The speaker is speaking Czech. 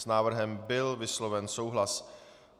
S návrhem byl vysloven souhlas.